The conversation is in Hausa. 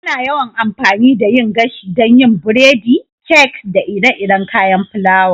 Ana yawan amfani da yin gashi don yin biredi, kek, da ire-iren kayan fulawa.